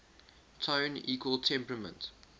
tone equal temperament